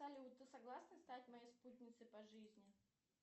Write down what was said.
салют ты согласна стать моей спутницей по жизни